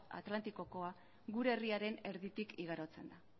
atlantikokoa gure herriaren erditik igarotzen da